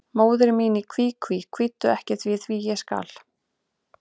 Móðir mín í kví, kví, kvíddu ekki því, því, ég skal.